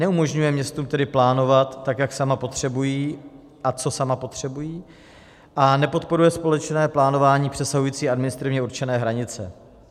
Neumožňuje městům tedy plánovat, tak jak sama potřebují a co sama potřebují, a nepodporuje společné plánování přesahující administrativně určené hranice.